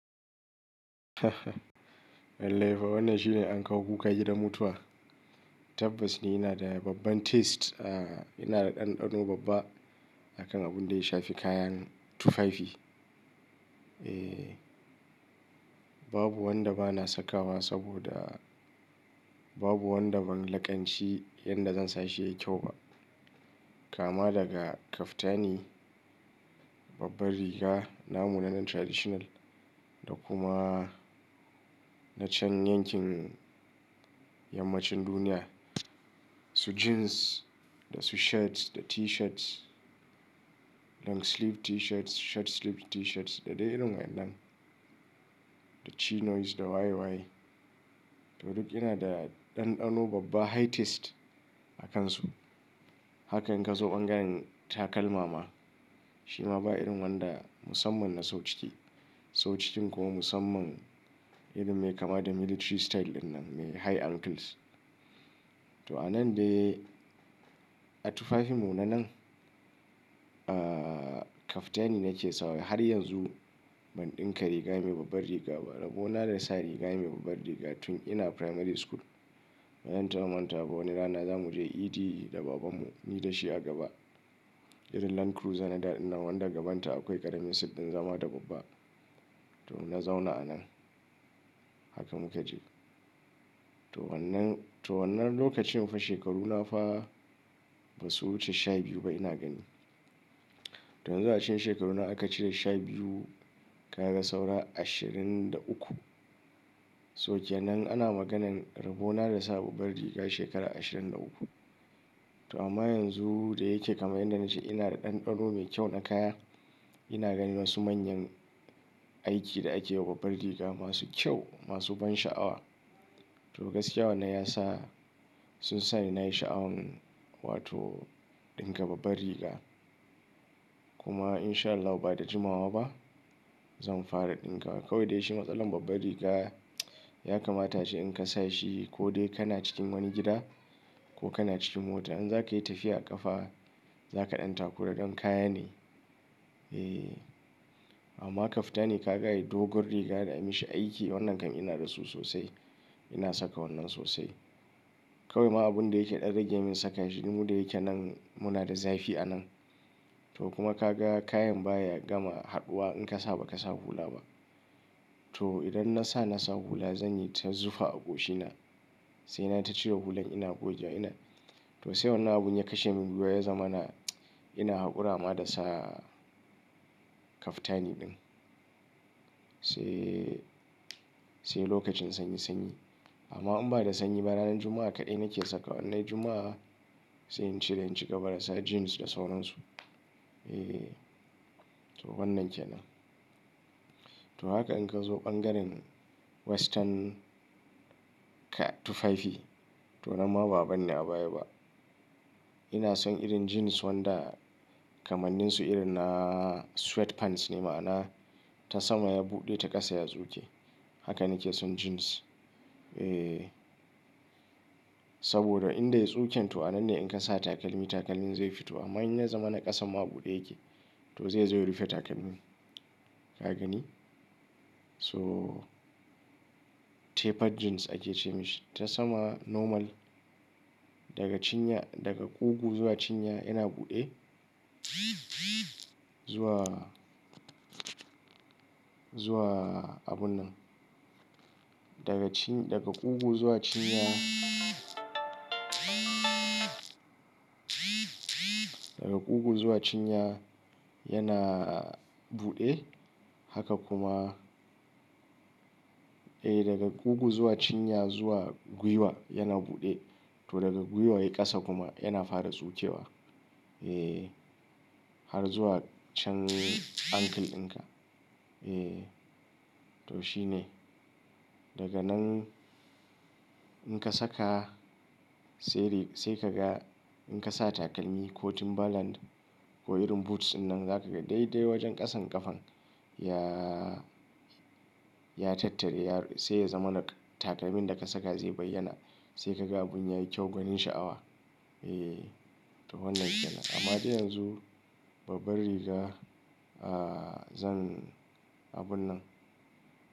Lallai fa wannan shine ankawo kuka gidan da mutuwa. Tabbas ni ina da babban taste. Aa ina da ɗanɗano babba akan abin da ya shafi kayan tufafi. Eh, babu wanda bana sakawa saboda babu wanda ban laƙanci yanda zan sa shi yayi kyau ba. Kama daga kaftani, babbar riga, namu na nan traditional da kuma na can yankin yammacin duniya. Su jeans da su shirt da t-shirts, long sleeve t-shirts, short sleeve t-shirts da dai irin waɗannan. Da chinos da waye waye. To duk ina da ɗanɗano babba high taste a kansu. Haka in ka zo ɓangaren takalma ma, shi ma ba irin wanda musamman na sau ciki. Sau cikin kuma musamman irin me kama da military style ɗinnan, me high ankles. To a nan dai a tufafin mu nan nan, ah kaftani nake sawa har yanzu ban ɗinka riga mai babbar riga ba. Rabo na da sa riga mai babbar riga tun ina primary school. Bazan taba manta ba wani rana zamu je idi da babanmu, ni da shi a gaba. Irin Land Cruiser na da, din nan wanda gabanta akwai ƙaramin siddin zama da babba. To na zauna a nan. Haka muka je. To wannan, to wannan lokacin fa shekaruna fa ba su wuce sha biyu ba ina gani. To yanzu a cikin shekaru na aka cire shabiyu kaga saura ashirin da uku. So kenan ana maganan Rabo na da sa babbar riga shekara ashirin da uku. To amma yanzu da yake kamar yanda na ce ina da ɗanɗano mai kyau na kaya. Ina ganin wasu manyan aiki da akeyi wa babbar riga masu kyau, masu ban sha'awa. To gaskiya wannan yasa sunsa ni nayi sha'awan wato ɗinka babbar riga. Kuma in sha Allahu ba da jimawa ba zan fara ɗinkawa. Kawai dai shi matsalar babbar riga'a ya kamata shi in ka sa shi ko dai kana cikin wani gida kokana cikin mota. In za ka yi tafiya a ƙafa, za ka ɗan takura don kaya ne. Eh. Amma kaftani kaga ayi dogon riga da ayi mishi aiki wannan kam ina da su sosai. Ina saka wannan sosai. Kawai ma abun da yake ɗan rage min saka shi mu da yake nan muna da zafi a nan. To kuma ka ga kayan baya gama haɗuwa in ka sa ba ka sa hula ba. To idan na sa na sa hula zan yi ta zufa a goshina. Sai na tacire hulan ina gogewa ina. To sai wannan abun ya kashe mun gwuiwa ya zamana ina haƙura ma da sa kaftani ɗin. Sai, sai lokacin sanyi sanyi. Amma in ba da sanyi ba ranar Juma'a kaɗai nake sakawa innai. Juma'a sai in cire in cigaba da sa jeans da sauran su. Eh. To wannan ke nan. To haka in ka zo ɓangaren western tufafi to nan ma ba abanni a baya ba. Ina son irin jeans wanda kamannin su irin naa sweat pants ne ma'ana ta sama ya buɗe ta ƙasa ya tsuke. Haka nake son jeans. Eeh. Saboda in dai ya tsuke to a nan ne in ka sa takalmi takalmin zai fito. Amma in ya zamana ƙasan ma buɗe yake to zaizo, ya rufe takalmin. Ka gani? So tapered jeans ake ce mishi. Ta sama normal. Daga cinya, daga kugu zuwa cinya yana buɗe zuwa, zuwa abun nan. Daga cin, daga kugu zuwa cinya daga kugu zuwa cinya yana buɗe. Haka kuma, eh daga kugu zuwa cinya zuwa gwuiwa yana buɗe. To daga gwuiwa yayi ƙasa kuma yana fara tsukewa. Eeh. Har zuwa can ankle ɗinka. Eeh. To shi ne. Daga nan in ka saka sai rig, sai ka ga in ka sa takalmi ko timberland. Ko irin boots ɗinnan za ka ga dai dai wajen ƙasan ƙafan ya, ya tattare ya, sai ya zamana takalmin da ka saka zai bayyana. Sai ka ga abun yayi kyau gwanin sha'awa. Eee. To wannan ke nan. Amma dai yanzu babbar riga, ah zan abun nan.